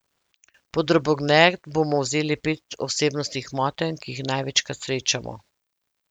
Pod drobnogled bomo vzeli pet osebnostnih motenj, ki jih največkrat srečamo.